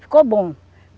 Ficou bom.